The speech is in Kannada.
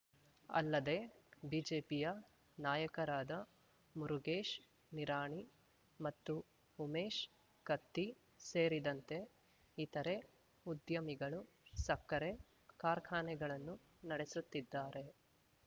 ಅಲ್ಲದೇ ಬಿಜೆಪಿಯ ನಾಯಕರಾದ ಮುರುಗೇಶ್‌ ನಿರಾಣಿ ಮತ್ತು ಉಮೇಶ್‌ ಕತ್ತಿ ಸೇರಿದಂತೆ ಇತರೆ ಉದ್ಯಮಿಗಳು ಸಕ್ಕರೆ ಕಾರ್ಖಾನೆಗಳನ್ನು ನಡೆಸುತ್ತಿದ್ದಾರೆ